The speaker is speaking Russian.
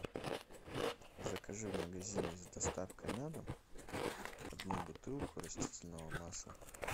закажи в магазине с доставкой на дом одну бутылку растительного масла